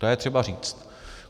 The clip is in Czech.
To je třeba říct.